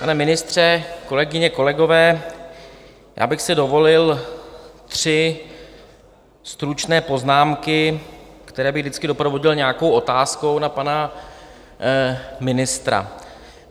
Pane ministře, kolegyně, kolegové, já bych si dovolil tři stručné poznámky, které bych vždycky doprovodil nějakou otázkou na pana ministra.